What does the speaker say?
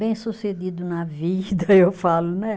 Bem sucedido na vida, eu falo, né?